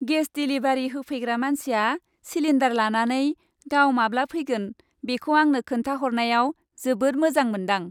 Gas delivery होफैग्रा मानसिया cylinder लानानै गाव माब्ला फैगोन बेखौ आंनो खोनथा हरनायाव जोबोद मोजां मोनदां।